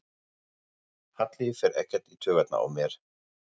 Halli fer ekkert í taugarnar á mér.